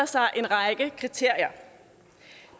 sig en række kriterier